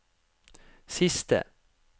siste